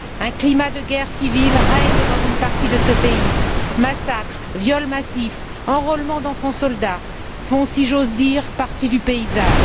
Un climat de guerre civile règne dans une partie du pays massacres, viols massifs, enrôlement d'enfants soldats font, si j'ose dire, partie du paysage....